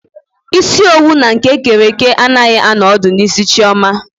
Isi owu na nke ekere eke anaghị anọ ọdụ n'isi Chioma.